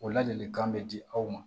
O ladilikan bɛ di aw ma